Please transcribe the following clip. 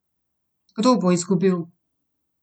Kdo bo izgubil?